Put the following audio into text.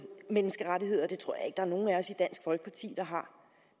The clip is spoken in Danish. menneskerettigheder det tror at der er nogen af os i dansk folkeparti der har